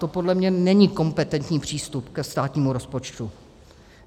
To podle mě není kompetentní přístup ke státnímu rozpočtu.